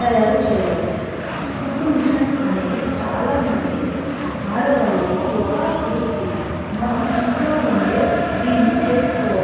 తాయారు చేయవచ్చు. కుట్టు మెషిన్ అనేది ఆడవాళ్లకి ఒక వృత్తి. మనం ఇంట్లో ఉండే దీని చేసుకోవచ్చు.